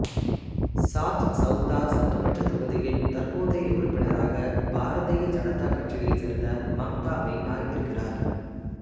சாச்சௌதா சட்டமன்றத் தொகுதியின் தற்போதைய உறுப்பினராக பாரதிய ஜனதா கட்சியைச் சேர்ந்த மம்தா மீனா இருக்கிறார்